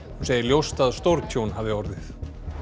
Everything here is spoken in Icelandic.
hún segir ljóst að stórtjón hafi orðið